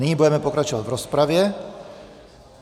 Nyní budeme pokračovat v rozpravě.